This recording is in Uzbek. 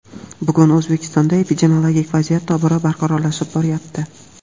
bugun O‘zbekistonda epidemiologik vaziyat tobora barqarorlashib boryapti.